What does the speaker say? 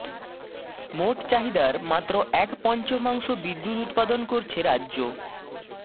মোট চাহিদার মাত্ৰ এক পঞ্চমাংশ বিদ্যুৎ উৎপাদন করছে রাজ্য